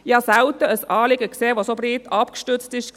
Ich habe selten ein Anliegen gesehen, dass so breit abgestützt war.